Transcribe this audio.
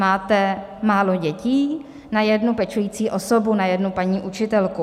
Máte málo dětí na jednu pečující osobu, na jednu paní učitelku.